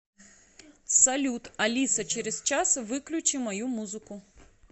салют алиса через час выключи мою музыку